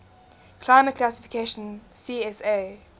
climate classification csa